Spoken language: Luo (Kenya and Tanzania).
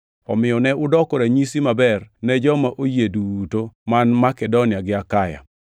Omiyo ne udoko ranyisi maber ne joma oyie duto man Makedonia gi Akaya.